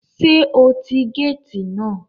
Sé o ti gáàtì náà